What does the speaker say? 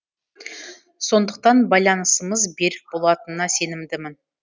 сондықтан байланысымыз берік болатынына сенімдімін